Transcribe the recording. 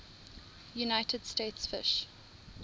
united states fish